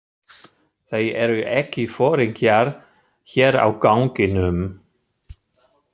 Þeir eru ekki foringjar hér á ganginum.